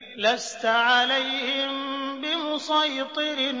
لَّسْتَ عَلَيْهِم بِمُصَيْطِرٍ